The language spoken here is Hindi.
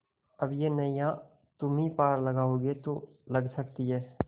अब यह नैया तुम्ही पार लगाओगे तो लग सकती है